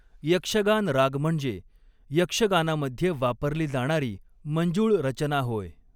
यक्षगान राग म्हणजे यक्षगानामध्ये वापरली जाणारी मंजुळ रचना होय.